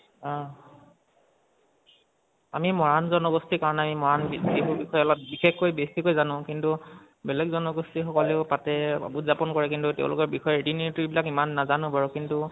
অহ আমি মৰাণ জনগোষ্ঠীৰ কাৰণে আমি মৰাণ বিহু বিষয়ে অলপ বিশেষকৈ বেচিকে জানো। কিন্তু বেলেগ জনগোষ্ঠী সকলেও পাতে, উৎযাপন কৰে, কিন্তু তেওঁলোকৰ বিষয়ে ৰীতি নিয়ম বিলাক ইমান নাজানো বাৰু কিন্তু